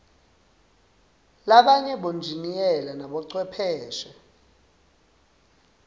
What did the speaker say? labanye bonjiniyela nabochwepheshe